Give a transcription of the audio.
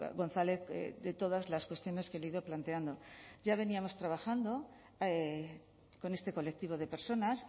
gonzález de todas las cuestiones que le he ido planteando ya veníamos trabajando con este colectivo de personas